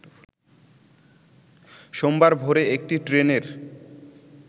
সোমবার ভোরে একটি ট্রেনের